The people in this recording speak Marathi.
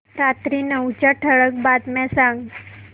रात्री नऊच्या ठळक बातम्या सांग